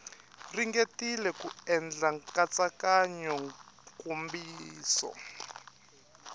ringetile ku endla nkatsakanyo nkomiso